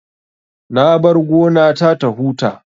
Na bar gona ta ta huta